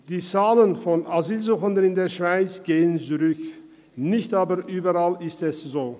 Die Zahl der Asylsuchenden in der Schweiz geht zurück, das ist aber nicht überall der Fall.